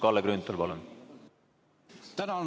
Kalle Grünthal, palun!